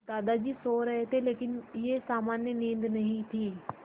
दादाजी सो रहे थे लेकिन यह सामान्य नींद नहीं थी